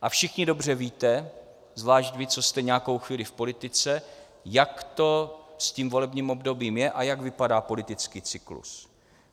A všichni dobře víte, zvlášť vy, co jste nějakou chvíli v politice, jak to s tím volebním obdobím je a jak vypadá politický cyklus.